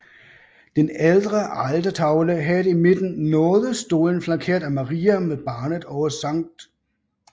Den ældre altertavle havde i midten nådestolen flankeret af Maria med barnet og Skt